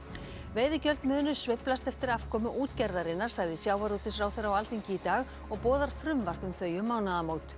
veiðigjöld munu sveiflast eftir afkomu útgerðarinnar sagði sjávarútvegsráðherra á Alþingi í dag og boðar frumvarp um þau um mánaðamót